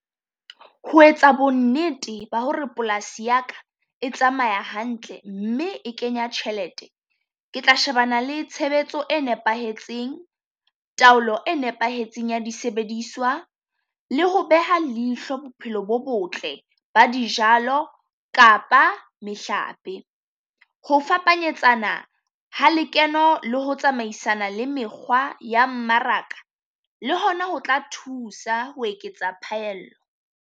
Ho etsa bonnete ba ho re polasi ya ka e tsamaya hantle mme e kenya tjhelete. Ke tla shebana le tshebetso e nepahetseng, taolo e nepahetseng ya disebediswa le ho beha leihlo bophelo bo botle ba dijalo kapa mehlape. Ho fapanyetsana ha lekeno le ho tsamaisana le mekgwa ya mmaraka, le hona ho tla thusa ho eketsa phaello.